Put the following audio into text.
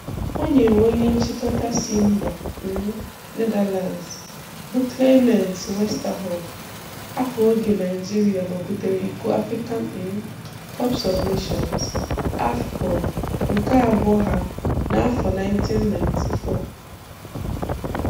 O nyeere onye nchịkọta si mba um Netherlands bụ Clemens Westerhof aka oge Naịjirịa mabutere iko African um Cup of Nations (AFCON) nke abụọ ha n'afọ 1994